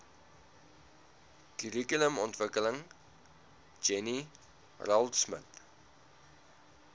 kurrikulumontwikkeling jenny raultsmith